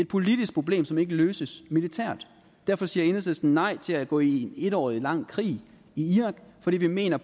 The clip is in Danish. politisk problem som ikke løses militært derfor siger enhedslisten nej til at gå med i en et år lang krig i iran fordi vi mener